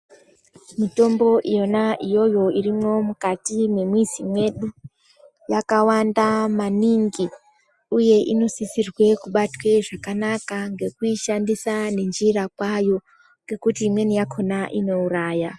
Mitombo yona iyoyo irimwo mukati memwizi medu yakawanda maningi uye inosisirwe kubatwe zvakanaka, ngekuishandisa nenjira kwayo ngekuti imweni yakhona inouraya.